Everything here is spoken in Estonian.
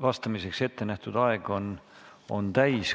vastamiseks ette nähtud aeg on täis.